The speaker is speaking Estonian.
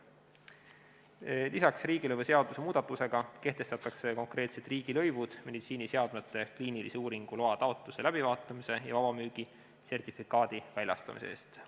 Lisaks kehtestatakse riigilõivuseaduse muudatusega konkreetsed riigilõivud meditsiiniseadmete kliinilise uuringu loa taotluse läbivaatamise ja vabamüügi sertifikaadi väljastamise eest.